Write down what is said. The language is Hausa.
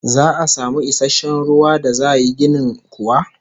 Za'a samu isasshen ruwan da za yi ginin kuwa?